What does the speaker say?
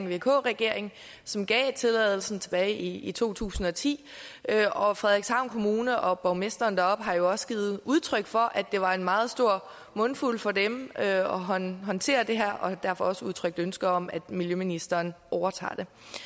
vk regering som gav tilladelsen tilbage i to tusind og ti og frederikshavn kommune og borgmesteren deroppe har også givet udtryk for at det var en meget stor mundfuld for dem at håndtere det her og har derfor også udtrykt ønske om at miljøministeren overtager